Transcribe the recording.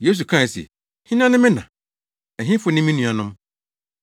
Yesu kae se, “Hena ne me na? Ɛhefo ne me nuanom?”